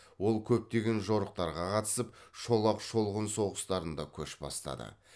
ол көптеген жорықтарға қатысып шолақ шолғын соғыстарында көш бастады